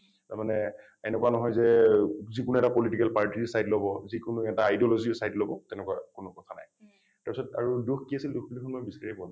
তাৰ মানে এনেকুৱা নহয় যে যিকোনো এটা political party ৰ side লব , যিকোনো এটা ideology ৰ side লব তেনেকুৱা কোনো কথা নাই। তাৰ পিছত আৰু দোষ কি আছিল দোষ দেখোন মই বিচাৰিয়েই পোৱা নাই।